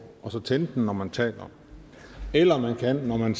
og tænde den når man taler eller man kan når man